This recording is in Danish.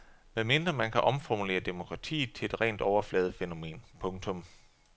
Medmindre man kan omformulere demokratiet til et rent overfladefænomen. punktum